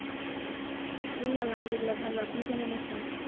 এই আলহামদুলিল্লাহ্‌ ভালো। আপনি কেমন আছেন?